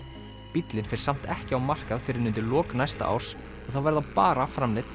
bíllinn fer samt ekki á markað fyrr en undir lok næsta árs og það verða bara framleidd